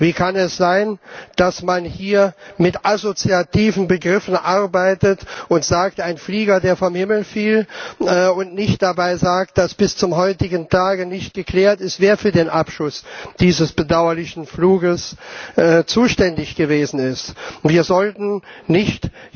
Wie kann es sein, dass man hier mit assoziativen Begriffen arbeitet und sagt, ein Flieger, der vom Himmel fiel, und nicht dabei sagt, dass bis zum heutigen Tage nicht geklärt ist, wer für den bedauerlichen Abschuss dieses Fluges zuständig gewesen ist? Wir sollten nicht